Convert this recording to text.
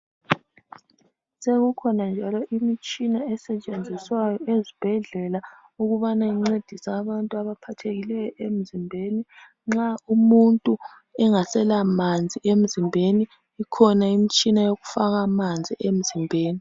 Sekukhona njalo imitshina esetshenziswayo ezibhedlela ukubana incedise abantu abaphathekileyo emzimbeni nxa umuntu engasela manzi emzimbeni, ikhona imitshina yokufaka amanzi emzimbeni.